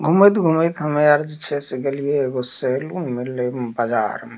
घुमेत-घुमेत हमे आर जे छै से गेलिये एगो सैलून मिलले बजार मे --